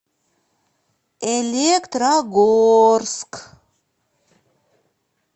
электрогорск